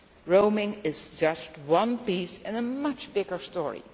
Roaming is just one piece in a much bigger story.